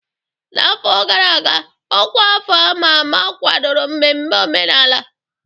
N'afọ gara aga, ọkwa afọ a ma ama kwadoro mmemme omenala.